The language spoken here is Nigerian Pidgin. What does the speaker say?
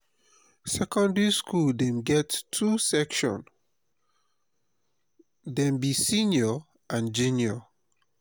secondary skool dey get two section dem be senior and junior.